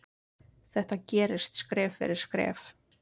Þetta gerist skref fyrir skref.